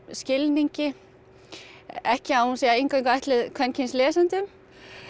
skilningi ekki að hún sé eingöngu ætluð kvenkyns lesendum